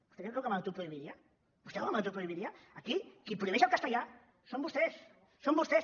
vostè creu que m’autoprohibiria vostè creu que m’autoprohibiria aquí qui prohibeix el castellà són vostès són vostès